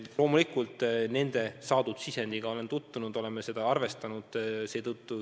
Loomulikult ma nende saadud sisenditega olen tutvunud, me oleme seda kõike arvestanud.